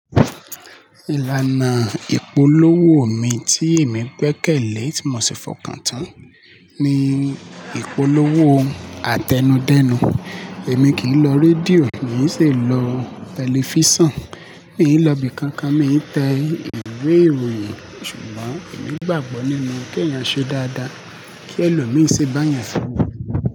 Ìlànà ìpolówó mi tí èmi gbẹ́kẹ̀lé tí mo ṣi fọkàntán ni ìpolówó àtẹnudẹ́nu. Èmi kì í lọ rédíò, mi ò ṣe lọ tẹlifísàn, mi ò lọ ibi kankan, mi ń tẹ ìwé ìròyìn. Ṣùgbọ́n èmi gbàgbọ́ nínú kí èèyàn ṣe dáadáa, kí ẹlòmí ṣe bá èèyàn ṣe dáadáa.